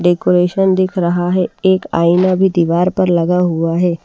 Decoration दिख रहा हैएक आईना भी दीवार पर लगा हुआ है।